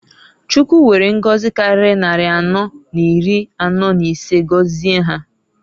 Chukwu were ngozi kariri nnari anọọ n'iri anọọ n'isee gozie ha.